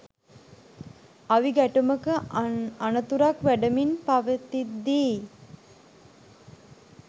අවි ගැටුමක අනතුරක් වැඩෙමින් පවතිද්දීයි